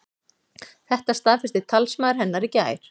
Þetta staðfesti talsmaður hennar í gær